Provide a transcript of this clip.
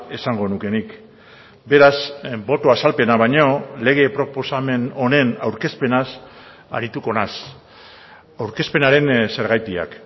esango nuke nik beraz boto azalpena baino lege proposamen honen aurkezpenaz arituko naiz aurkezpenaren zergatiak